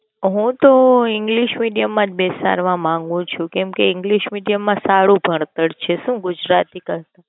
હું તો એન English Medium માં જ બેસાડવા માંગુ છુ કેમ કે English medium માં સારું ભણતર છે ગુજરાતી કરતા.